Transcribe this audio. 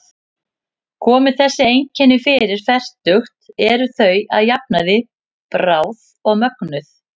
Komi þessi einkenni fyrir fertugt eru þau að jafnaði bráð og mögnuð.